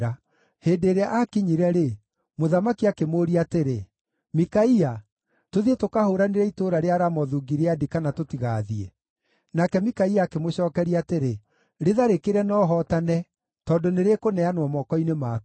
Hĩndĩ ĩrĩa aakinyire-rĩ, mũthamaki akĩmũũria atĩrĩ, “Mikaia, tũthiĩ tũkahũũranĩre itũũra rĩa Ramothu-Gileadi, kana tũtigaathiĩ?” Nake Mikaia akĩmũcookeria atĩrĩ, “Rĩtharĩkĩre na ũhootane, tondũ nĩrĩkũneanwo moko-inĩ maku.”